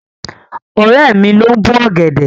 Ọ̀rẹ́ mi ló ń bó ọ̀gẹ̀dẹ̀.